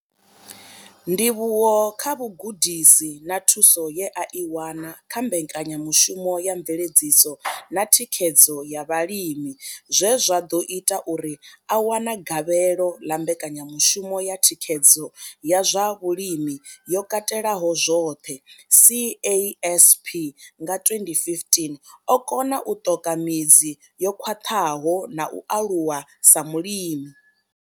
Ndivhuwo kha vhugudisi na thuso ye a i wana kha mbekanyamushumo ya mveledziso na thikhedzo ya vhalimi zwe zwa ḓo ita uri a wane gavhelo ḽa mbekanyamushumo ya thikhedzo ya zwa vhulimi yo katelaho zwoṱhe CASP nga 2015, o kona u ṱoka midzi yo khwaṱhaho na u aluwa sa mulimi.